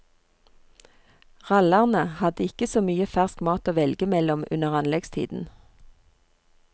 Rallarne hadde ikke så mye fersk mat å velge mellom under anleggstiden.